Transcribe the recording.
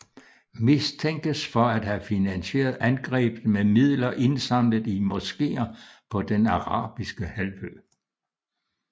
Mistænkes for at have finansieret angrebet med midler indsamlet i moskeer på den arabiske halvø